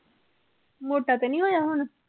ਮੋਟਾ ਤੇ ਨੀ ਹੋਇਆ ਹੁਣ?